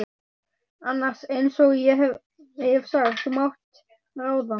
annars, einsog ég hef sagt, þú mátt ráða.